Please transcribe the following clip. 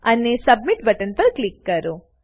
અને submit button પર click કરો